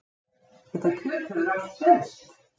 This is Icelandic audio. Það kjöt hefur allt selst